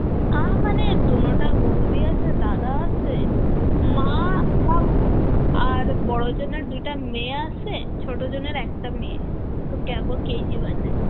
আ মানে দনোটার বৌদি আসে, দাদা আসে মা আর বাবু, আর বড় জনের দুইটা মেয়ে আসে, ছোট জনের একটা মেয়ে,